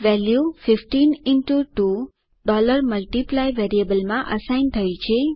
value 15 2 multiply વેરિયેબલમાં assign થઇ છે